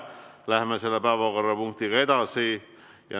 Läheme selle päevakorrapunktiga edasi.